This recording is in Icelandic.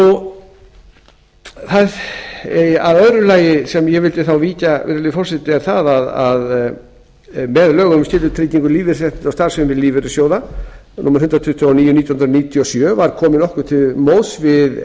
og því hafi ekki verið eðlilegt að halda þessu áfram virðulegi forseti með lögum um skyldutryggingu lífeyrisréttinda og starfsemi lífeyrissjóða númer hundrað tuttugu og níu nítján hundruð níutíu og sjö var komið nokkuð til móts við